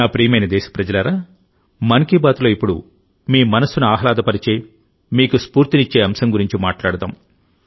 నా ప్రియమైన దేశప్రజలారా మన్ కీ బాత్లోఇప్పుడు మీ మనస్సును ఆహ్లాదపరిచే మీకు స్ఫూర్తినిచ్చే అంశం గురించి మాట్లాడుదాం